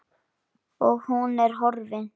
Og nú er hún horfin.